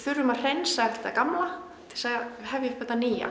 að hreinsa upp þetta gamla til að hefja upp þetta nýja